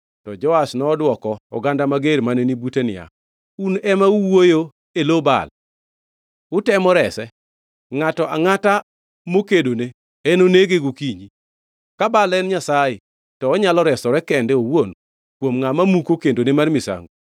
To Joash nodwoko oganda mager mane ni bute niya, “Un ema uwuoyo e lo Baal? Utemo rese? Ngʼato angʼata mokedone enonege gokinyi! Ka Baal en nyasaye, to onyalo resore kende owuon kuom ngʼama muko kendone mar misango.”